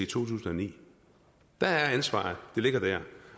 tusind og ni ansvaret ligger der